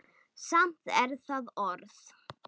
Samt er það orð.